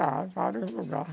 Já, vários lugares.